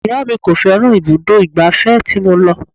Ìyá mi kò fẹ́ràn ibùdó ìgbà fẹ́ tí mo lọ.